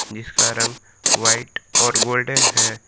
जिसका रंग व्हाइट और गोल्डन है।